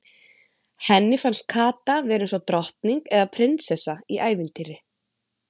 Henni fannst Kata vera eins og drottning eða prinsessa í ævintýri.